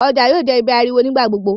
ọjà yóò jé ibí ariwo nigba-gbogbo.